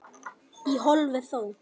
Í hófi þó.